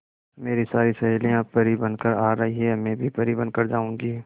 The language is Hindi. मेरी सारी सहेलियां परी बनकर आ रही है मैं भी परी बन कर जाऊंगी